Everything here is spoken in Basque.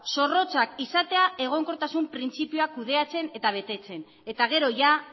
zorrotzak izatea egonkortasun printzipioa kudeatzen eta betetzen eta gero ia